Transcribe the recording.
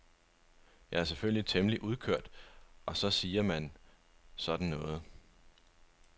Jeg er selvfølgelig temmelig udkørt og så siger man sådan noget.